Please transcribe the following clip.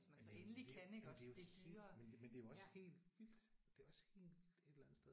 Jamen det jamen det er jo helt men det men det er jo også helt vildt det er også helt vildt et eller andet sted